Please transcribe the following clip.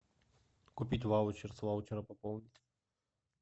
купить ваучер с ваучера пополнить